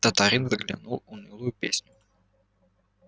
татарин затянул унылую песню